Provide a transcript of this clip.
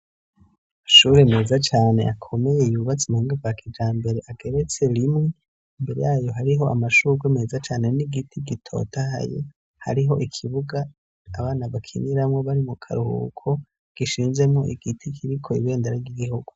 Amashuri meza cane akomeye yubatse mubuhinga bwa kijambere ageretse rimwe ,imbere yayo hariho amashurwe meza cane n'igiti gitotahaye hariho ikibuga abana bakiniramwo bari mu karuhuko , gishinzemwo igiti kiriko ibendera ry'igihugu.